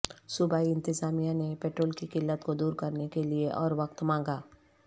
صوبائی انتظامیہ نے پیٹرول کی قلت کو دور کرنے کیلئے اور وقت مانگا